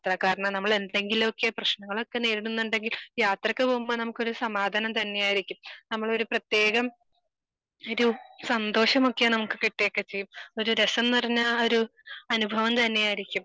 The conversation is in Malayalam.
കാരണം നമ്മളെന്തെങ്കിലുമൊക്കെ പ്രശ്നങ്ങളൊക്കെ നേരിടുന്നുണ്ടെങ്കിൽ യാത്രക്ക് പോകുമ്പോ നമുക്കൊരു സമാധാനം തന്നെയായിരിക്കും. നമ്മളൊരു പ്രതേകം ഒരു സന്തോഷം ഒക്കെ നമുക്ക് കിട്ടുക്കെ ചെയ്യും. ഒരു രസം നിറഞ്ഞ ആഹ് ഒരു അനുഭവം തന്നെ ആയിരിക്കും.